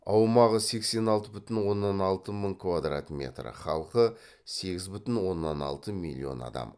аумағы сексен алты бүтін оннан алты мың квадрат метр халқы сегіз бүтін оннан алты миллион адам